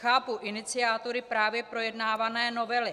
Chápu iniciátory právě projednávané novely.